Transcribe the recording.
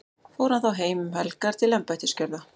fór hann þá heim um helgar til embættisgjörða